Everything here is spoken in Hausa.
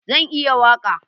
Zan iya waƙa